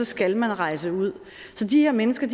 skal man rejse ud så de her mennesker